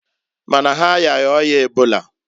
Mana ha ayaghi oya ebola.